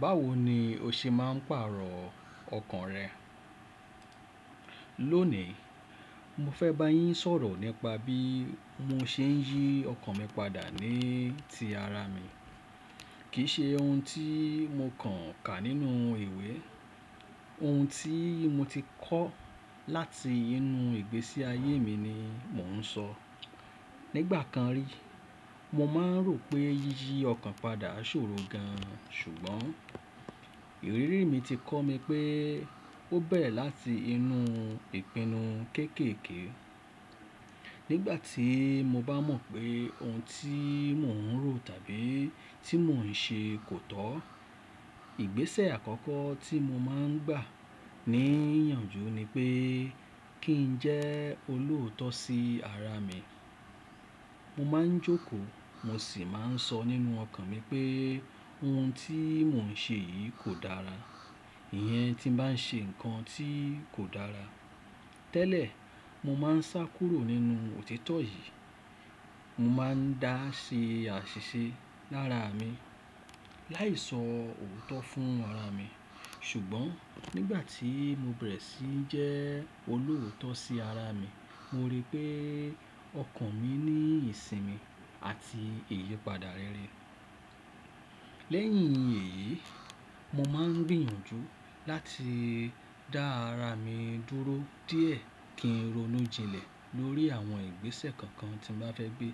Báwo ni o ṣe máa ń pàrọ̀ ọkàn rẹ? Lónìí, mo fẹ́ bá yín sọ̀rọ̀ nípa bí mo ṣe ń yí ọkàn mi padà ní ti ara mi. Kì í ṣe ohun tí mo kàn ka nínú ìwé. Ohun tí mo ti kọ́ láti inú ìgbésí ayé mi ni mò ń sọ. Nígbà kan rí, mo máa ń rò pé yíyí ọkàn padà ṣòro gan-an, ṣùgbọ́n ìrírí mi ti kọ́ mi pé ó bẹ̀rẹ̀ láti inú ìpinnu kéékèèké. Nígbà tí mo bá mọ̀ pé ohun tí mò ń rò tàbí tí mò ń ṣe kò tọ́, ìgbésẹ̀ àkọ́kọ́ tí mo máa ń gbà ní ìyànjú ni pé kí n jẹ́ olóòótọ́ sí ara mi. Mo máa ń jókòó mo sì máa ń sọ nínú ọkàn mi pé ohun tí mò ń ṣe yìí kò dára. Ìyẹn tí n bá ń ṣe nǹkan tí kò dára. Tẹ́lẹ̀, mo máa ń sá kúrò nínú òtítọ́ yìí. Mo máa ń dá ṣe àṣìṣe lára mi láì sọ òótọ́ fún ara mi. Ṣùgbọ́n nígbà tí mo bẹ̀rẹ̀ sí jẹ́ olóòótọ́ sí ara mi, mo rí pé ọkàn mi ní ìsinmi àti ìyípadà rere. Lẹ́yìn èyí, mo máa ń gbìyànjú láti dá ara mi dúró díẹ̀ kí n ronú jinlẹ̀ lórí àwọn ìgbésẹ̀ kankan tí mo bá fẹ́ gbé.